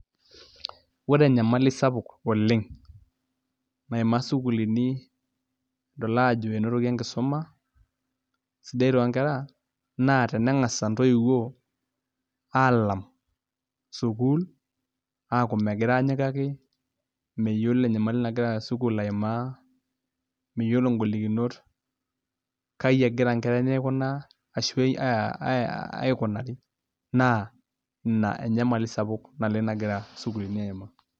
Ore enyamali sapuk oleng' naimaa isukuulini nidol aajo enotoki enkisuma sidai toonkera naa teneng'as intoiwuo aalam sukuul aaku megira aanyikaki meyiolo enyamali nagira sukuul aimaa miyiolo ngolikinot kaai egira inkera enye aikunaa ashu aikunari naa ina enyamali sapuk naleng' nagira isukuulini aimaa.